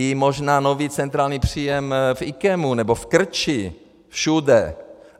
I možná nový centrální příjem v IKEMu nebo v Krči, všude.